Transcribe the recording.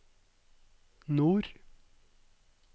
nord